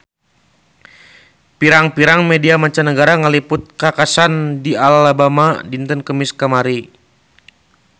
Pirang-pirang media mancanagara ngaliput kakhasan di Alabama dinten Kemis kamari